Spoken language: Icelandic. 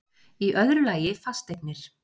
Í öðru lagi fasteignir